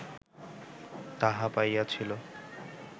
তাহা পাইয়াছিল